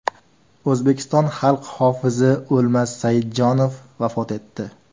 O‘zbekiston xalq hofizi O‘lmas Saidjonov vafot etdi.